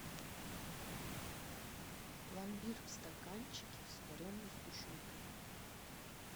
пломбир в стаканчике с вареной сгущенкой